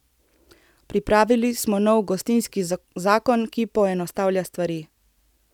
Pripravili smo nov gostinski zakon, ki poenostavlja stvari.